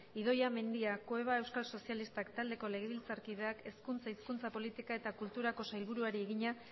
idoia mendia cueva euskal sozilistak taldeko legebiltzarkideak hezkuntza hizkuntza politika eta kultura sailburuari egina